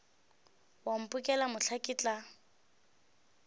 wa mphokela mohla ke tla